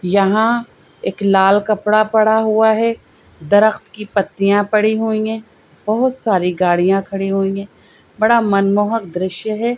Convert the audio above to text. यहां एक लाल कपड़ा पड़ा हुआ है दरख़्त की पत्तियां पड़ी हुई हैं बहुत सारी गाड़ियां खड़ी हुई हैं बड़ा मनमोहक दृश्य हैं।